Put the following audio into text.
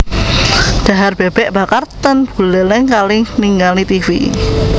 Dhahar bebek bakar ten Buleleng kalih ningali tivi